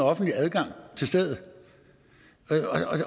offentlig adgang til stedet